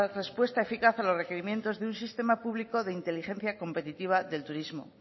respuesta eficaz a los requerimientos de un sistema público de inteligencia competitiva del turismo